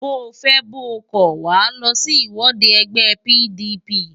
Bóo fẹ́ bóo kọ̀, Wàá lọ sí ìwọ́de ẹgbẹ́ PDP!